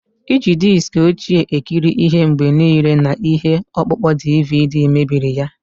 Iji diski ochie ekiri ihe mgbe niile na ihe ọkpụkpọ DVD mebiri ya.